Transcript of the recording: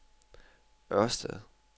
Ørsted